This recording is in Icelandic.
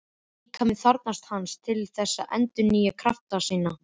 Líkaminn þarfnast hans til þess að endurnýja krafta sína.